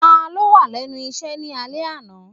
Ta ló wà lẹ́nu iṣẹ́ ni alẹ́ náà?